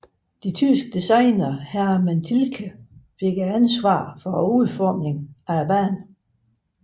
De tyske designer Hermann Tilke fik ansvaret for udformningen af banen